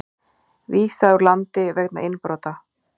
Vísað úr landi vegna innbrota